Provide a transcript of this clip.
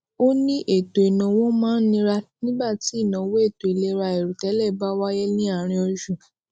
ó ní ètò ìnáwó máa ń nira nígbà tí inawo eto ilera àìròtélẹ bá wáyé ní àárín oṣù